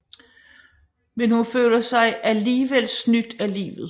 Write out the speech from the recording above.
Men hun føler sig alligevel snydt af livet